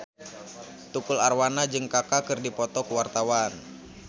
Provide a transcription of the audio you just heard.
Tukul Arwana jeung Kaka keur dipoto ku wartawan